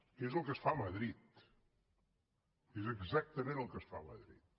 que és el que es fa a madrid és exactament el que es fa a madrid